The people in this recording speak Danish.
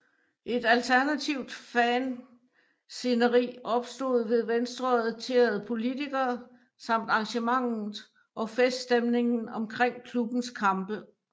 Et alternativt fansceneri opstod ved venstreorienterede politikere samt arrangementet og feststemningen omkring klubbens kampe